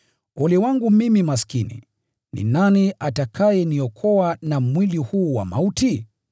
Ole wangu mimi maskini! Ni nani atakayeniokoa na mwili huu wa mauti?